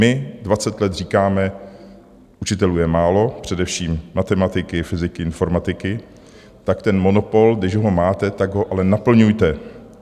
My dvacet let říkáme, učitelů je málo, především matematiky, fyziky, informatiky, tak ten monopol, když ho máte, tak ho ale naplňujte.